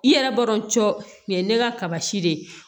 I yɛrɛ b'a dɔn cɔ o ye ne ka kaba si de ye